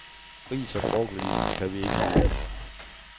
Ris og broccoli kan vi ikke lide.